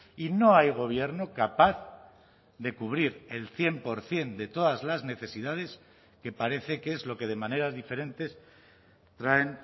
y no hay gobierno capaz de cubrir el cien por ciento de todas las necesidades que parece que es lo que de maneras diferentes traen